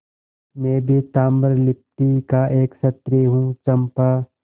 मैं भी ताम्रलिप्ति का एक क्षत्रिय हूँ चंपा